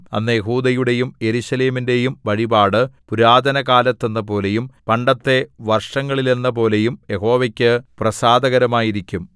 അന്ന് യെഹൂദയുടെയും യെരൂശലേമിന്റെയും വഴിപാട് പുരാതനകാലത്തെന്നപോലെയും പണ്ടത്തെ വർഷങ്ങളിലെന്നപോലെയും യഹോവയ്ക്ക് പ്രസാദകരമായിരിക്കും